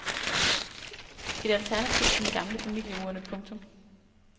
Et alternativ til den gamle familieurne. punktum